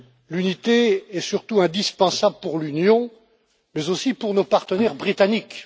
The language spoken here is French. L'unité est surtout indispensable pour l'Union mais aussi pour nos partenaires britanniques.